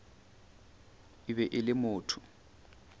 e be e le motho